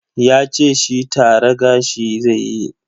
Yace shi tara gashi zaiyi.